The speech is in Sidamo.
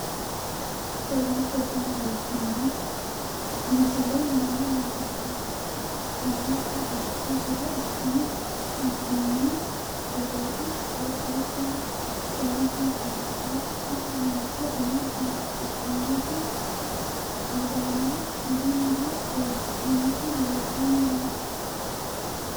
kowiicho tini biiffanno misile maa labbanno yiniro lowonta dancha gede assine haa'noonni foototi qoxeessuno lowonta danachaho. tini mancho umo biifisidhinoti uduunne budunniha uddidhinoti leeltanni noooe